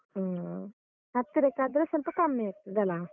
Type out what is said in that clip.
ಹ್ಮ್ ಹತ್ತಿರಕ್ಕಾದ್ರೆ ಸ್ವಲ್ಪ ಕಮ್ಮಿ ಆಗ್ತದಲಾ?